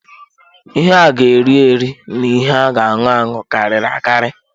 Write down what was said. Ihe a ga eri-eri na ihe a ga aṅụ anụ karịrị akari.